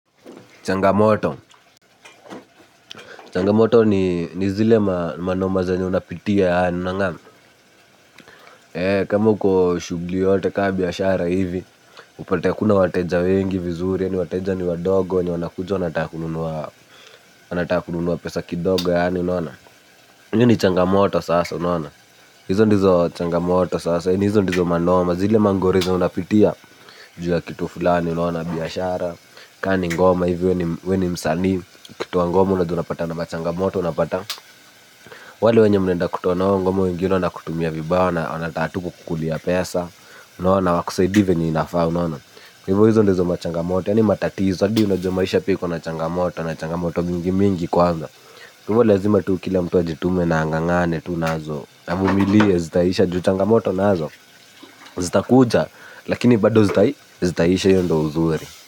Changamoto. Changamoto ni zile manoma zanye unapitia yaani unangana. Kama uko shugli ka biashara ivi upate hakuna wateja wengi vizuri, yani wateja ni wadogo. Hizo ndizo changamoto sasa. Hizo ndizo manoma zile mangori zenye unapitia. Ju ya kitu fulani unaona biashara Kani ngoma hivyo weni msanii ukitoa ngoma unapata na machangamoto unapata wale wenye mnaenda kutoa nao ngoma wengine wanakumia vibaya wanataka tu kukulia pesa hawakusaidii venye inafaa unaona izo ndo machangamoto yani matatizo adi unajua maisha pia iko na changamoto na changamoto mingimingi kwanza. Tuvo lazima tukile mtuwa jitume na angangane tu nazo namumiliye zita isha ju changamoto nazo. Zita kuja. Lakini bado zita zita isha iyo ndo uzuri.